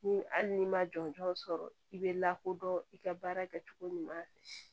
Ni hali n'i ma jɔnjɔn sɔrɔ i bɛ lakodɔn i ka baara kɛ cogo ɲuman